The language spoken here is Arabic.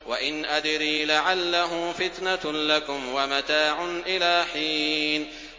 وَإِنْ أَدْرِي لَعَلَّهُ فِتْنَةٌ لَّكُمْ وَمَتَاعٌ إِلَىٰ حِينٍ